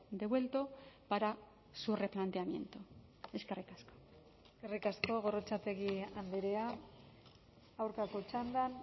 devuelto para su replanteamiento eskerrik asko eskerrik asko gorrotxategi andrea aurkako txandan